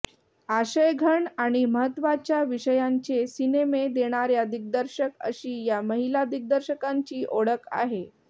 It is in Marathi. आशयघन आणि महत्त्वाच्या विषयांचे सिनेमे देणाऱ्या दिग्दर्शक अशी या महिला दिग्दर्शकांची ओळख आहे